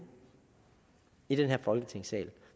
i den her folketingssal